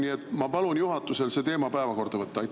Nii et ma palun juhatusel see teema päevakorda võtta.